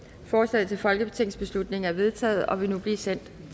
forslaget til folketingsbeslutning er vedtaget og vil nu blive sendt